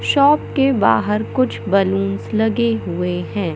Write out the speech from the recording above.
Shop के बाहर कुछ बलूंस लगे हुए हैं।